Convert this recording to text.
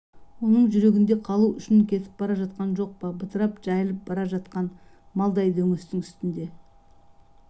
оның жүрегінде қалу үшін кетіп бара жатқан жоқ па бытырап жайылып бара жатқан малдай дөңестің үстінде